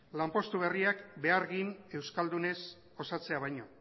lanpostu berriak behargin euskaldunez osatzea baino